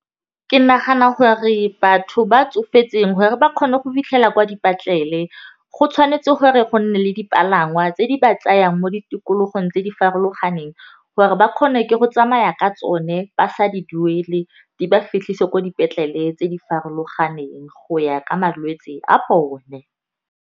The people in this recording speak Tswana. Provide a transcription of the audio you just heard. Ke nagana gore batho ba tsofetseng gore ba kgone go fitlhela kwa dipatlele, go tshwanetse gore go nne le dipalangwa tse di ba tsayang mo di tikologong tse di farologaneng, gore ba kgone ke go tsamaya ka tsone ba sa di duele di ba fitlhise ko dipetlele tse di farologaneng go ya ka malwetse a bone.